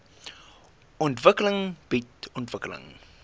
ontwikkeling bied ontwikkeling